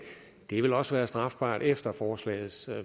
vil også være strafbart efter forslagets